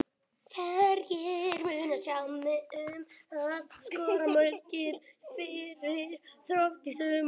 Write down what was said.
Hverjir munu sjá um að skora mörkin fyrir Þrótt í sumar?